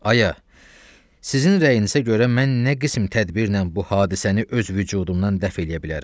Aya, sizin rəyinizə görə mən nə qism tədbirlə bu hadisəni öz vücudumdan dəf eləyə bilərəm.